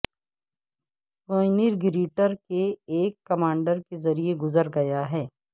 paneer grater کے ایک commander کے ذریعے گزر گیا ہے